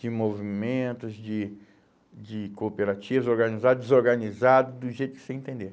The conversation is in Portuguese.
De movimentos, de de cooperativas, organizados, desorganizados, do jeito que você entender.